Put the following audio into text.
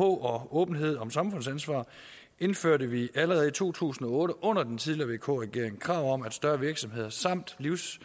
og åbenhed om samfundsansvar indførte vi allerede i to tusind og otte under den tidligere vk regering krav om at større virksomheder samt